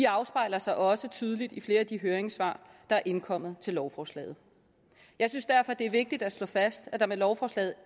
afspejler sig også tydeligt i flere af de høringssvar der er indkommet til lovforslaget jeg synes derfor at det er vigtigt at slå fast at der med lovforslaget